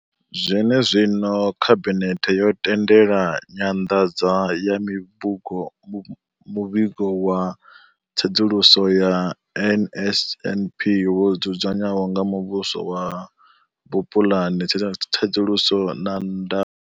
Zwenezwino, khabinethe yo tendela nyanḓadzo ya muvhigo wa tsedzuluso ya NSNP wo dzudzanywaho nga muhasho wa vhupulani, tsedzuluso na ndaulo.